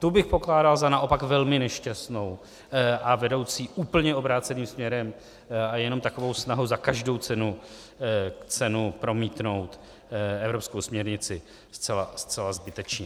tu bych pokládal za naopak velmi nešťastnou a vedoucí úplně obráceným směrem a jenom takovou snahu za každou cenu promítnout evropskou směrnici zcela zbytečně.